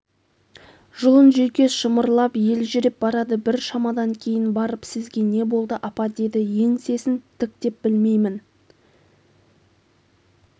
жұлын-жүйкес шымырлап елжіреп барады бір шамадан кейін барып сізге не болды апа деді еңсесін тіктеп білмеймін